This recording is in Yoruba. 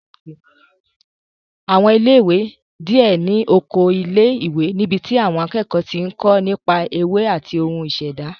Àwọn ilé ìwé díẹ̀ ní oko ilé ìwé níbi tí àwọn akẹ́kọ̀ọ́ ti ń kó nípa ewé àti ohun ìṣẹ̀dá